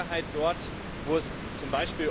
Und das ist mit Sicherheit dort, wo es z.